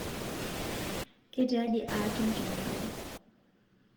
ketiaji aatum tenabau